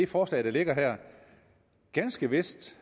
forslag der ligger her ganske vist